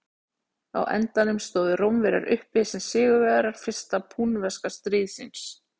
á endanum stóðu rómverjar uppi sem sigurvegarar fyrsta púnverska stríðsins